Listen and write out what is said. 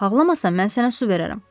Bax ağlamasan mən sənə su verərəm.